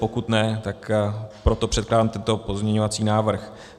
Pokud ne, tak proto předkládám tento pozměňovací návrh.